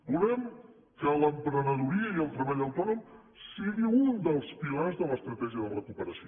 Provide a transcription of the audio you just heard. volem que l’emprenedoria i el treball autònom sigui un dels pilars de l’estratègia de recuperació